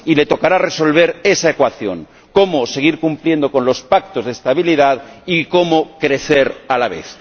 Y le tocará resolver esa ecuación cómo seguir cumpliendo con los pactos de estabilidad y cómo crecer a la vez.